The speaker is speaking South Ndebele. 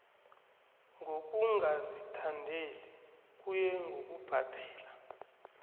ngokungazithandeli kuye ngokubhadela